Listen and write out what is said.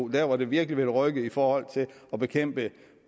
der hvor det virkelig vil rykke i forhold til at bekæmpe